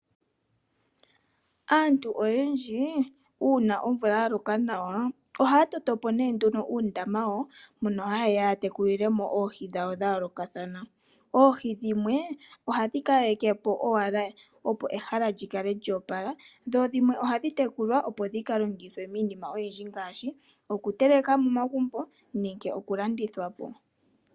Aantu oyendji, uuna omvula ya loka nawa mbono haa ya, ya tekulile mo oohi dhawo dha yoolokathana . Oohi dhimwe oha dhi kaleke po owala opo ehala li kale lyo opala, dho dhi dhimwe oha dhi tekulwa opo dhi ka longithwe miinima oyindji, ngaashi oku teleka momagumbo nenge oku landithwa po.